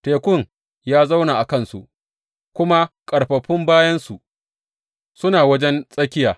Tekun ya zauna a kansu, kuma ƙarfafun bayansu suna wajen tsakiya.